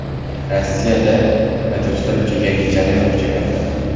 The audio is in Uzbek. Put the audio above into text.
Rossiyada haydovchilar uchun yangi jarima kuchga kirdi.